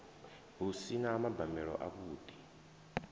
hu si na mabambelo avhuḓi